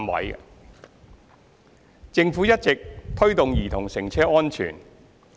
二及三政府一直推動兒童乘車安全。